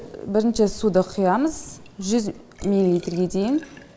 бірінші суды құямыз жүз миллилитрге дейін